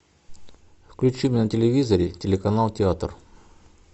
включи на телевизоре телеканал театр